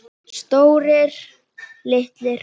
Stórir, litlir.